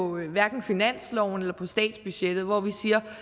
hverken finansloven eller statsbudgettet og